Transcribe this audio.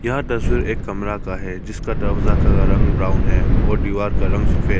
यह तस्वीर एक कमरा का हैं जिसका दरवाजा का कलर रग ब्राउन है और दीवार का कलर सफेद।